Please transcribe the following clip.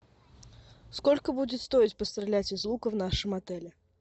сколько будет стоить пострелять из лука в нашем отеле